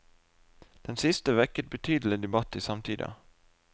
Den siste vekket betydelig debatt i samtida.